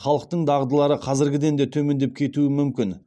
халықтың дағдылары қазіргіден де төмендеп кетуі мүмкін